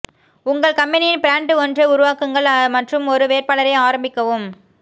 உங்கள் கம்பனியின் பிராண்ட் ஒன்றை உருவாக்குங்கள் மற்றும் ஒரு வேட்பாளரை ஆரம்பிக்கவும்